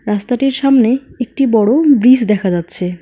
রাস্তাটির সামনে একটি বড় ব্রিস দেখা যাচ্ছে।